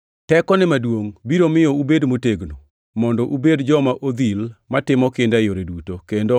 Tekone maduongʼ biro miyo ubed motegno, mondo ubed joma odhil matimo kinda e yore duto, kendo